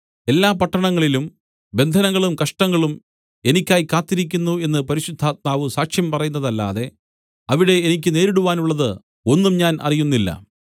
എല്ലാ പട്ടണങ്ങളിലും ബന്ധനങ്ങളും കഷ്ടങ്ങളും എനിക്കായി കാത്തിരിക്കുന്നു എന്ന് പരിശുദ്ധാത്മാവ് സാക്ഷ്യം പറയുന്നതല്ലാതെ അവിടെ എനിക്ക് നേരിടുവാനുള്ളത് ഒന്നും ഞാൻ അറിയുന്നില്ല